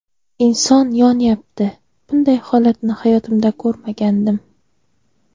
Inson yonyapti, bunday holatni hayotimda ko‘rmagandim.